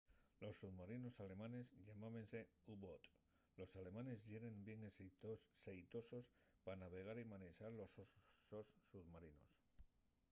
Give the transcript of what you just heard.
los submarinos alemanes llamábense u-boats los alemanes yeren bien xeitosos pa navegar y manexar los sos submarinos